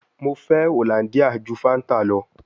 Mo fẹ Hollandia ju Fanta lọ